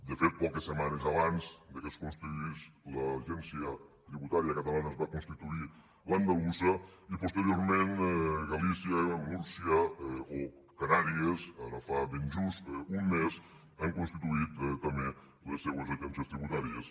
de fet poques setmanes abans que es constituís l’agència tributària catalana es va constituir l’andalusa i posteriorment galícia múrcia o canàries ara fa ben just un mes han constituït també les seues agències tributàries